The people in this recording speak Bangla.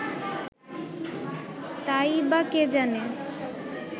তা-ই বা কে জানে